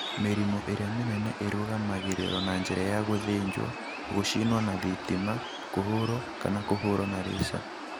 Mĩrimũ ĩrĩa mĩnene ĩrũgamagĩrĩrũo na njĩra ya gũthĩnjwo, gũcinwo na thitima, kũhũrũo, kana kũhũrũo na laser.